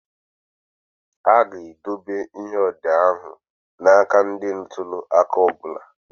A ga-edobe ihe odee ahụ na aka ndị ntuli aka ọ bụla.